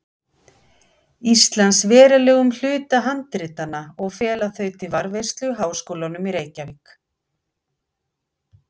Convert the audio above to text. Íslands verulegum hluta handritanna og fela þau til varðveislu Háskólanum í Reykjavík.